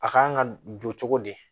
A kan ka don cogo di